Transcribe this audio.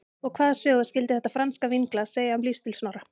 Og hvaða sögu skyldi þetta franska vínglas segja um lífsstíl Snorra?